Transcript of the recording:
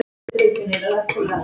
Það sé ekki ofsögum sagt.